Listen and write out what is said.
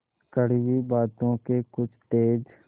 कड़वी बातों के कुछ तेज